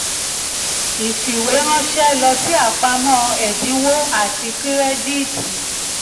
ìfìwéránṣẹ́ lọ sí apamọ́ ẹ̀dínwó àti kírẹ́díìtì.